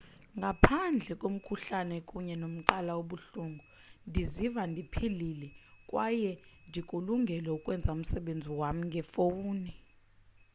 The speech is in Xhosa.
ngaphandle komkhuhlane kunye nomqala obuhlungu ndiziva ndiphilile kwaye ndikulungele ukwenza umsebenzi wam ngefowuni